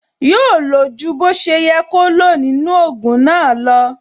Yóò lo ju bó ṣe yẹ kó lo nínú ogun náà lo